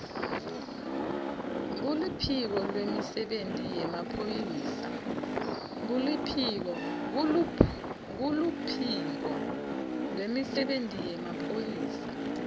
kuluphiko lwemisebenti yemaphoyisa